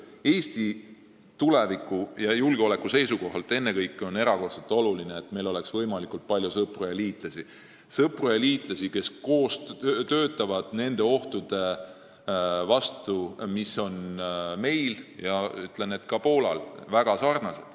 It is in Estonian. Ennekõike Eesti tuleviku ja julgeoleku seisukohalt on erakordselt oluline, et meil oleks võimalikult palju sõpru ja liitlasi, kes kõik koos töötavad nende ohtude vastu, mis on meil ja Poolal väga sarnased.